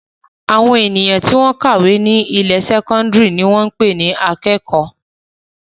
Àwọn ènìyàn tí wọ́n ń kàwé ní ilé-ìwé sẹ́kọ́ndárì ni wọ́n ń pè ní akẹ́kọ̀ọ́.